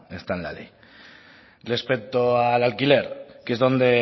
está en la ley respecto al alquiler que es donde